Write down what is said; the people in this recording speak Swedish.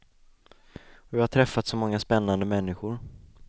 Och jag har träffat så många spännande människor.